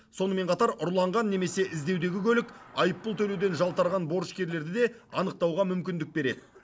сонымен қатар ұрланған немесе іздеудегі көлік айыппұл төлеуден жалтарған борышкерлерді де анықтауға мүмкіндік береді